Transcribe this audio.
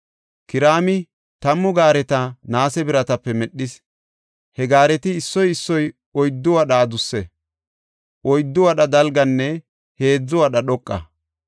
Kiraami tammu gaareta naase biratape medhis. He gaareti issoy issoy oyddu wadha adusse; oyddu wadha dalganne heedzu wadha dhoqa.